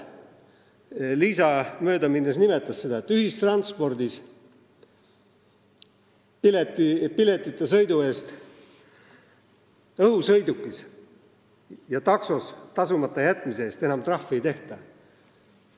Liisa möödaminnes nimetas, et ühistranspordis piletita sõidu eest, õhusõidukis ja taksos sõidu eest tasumata jätmise eest enam trahvi ei tehta.